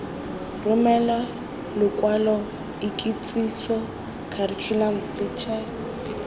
romele lokwalo ikitsiso curriculum vitae